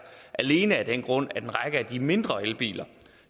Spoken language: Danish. alene af den grund at en række af de mindre elbiler